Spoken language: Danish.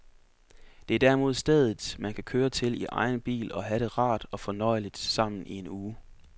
Det er derimod stedet, man kan køre til i egen bil og have det rart og fornøjeligt sammen i en uge.